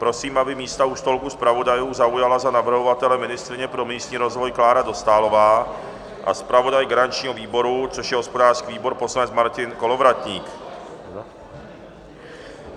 Prosím, aby místa u stolku zpravodajů zaujala za navrhovatele ministryně pro místní rozvoj Klára Dostálová a zpravodaj garančního výboru, což je hospodářský výbor, poslanec Martin Kolovratník.